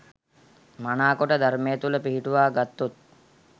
මනාකොට ධර්මය තුළ පිහිටුවා ගත්තොත්